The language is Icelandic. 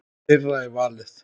Þeirra er valið.